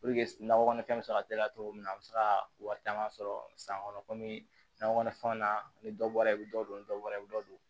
nakɔ kɔnɔfɛn bɛ se ka teliya cogo min na a bɛ se ka wari caman sɔrɔ san kɔnɔ komi nakɔ kɔnɔfɛnw na ni dɔ bɔra i bɛ dɔ don dɔ la i bɛ dɔ don